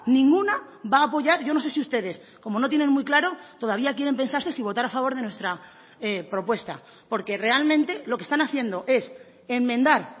ninguna va a apoyar yo no sé si ustedes como no tienen muy claro todavía quieren pensarse si votar a favor de nuestra propuesta porque realmente lo que están haciendo es enmendar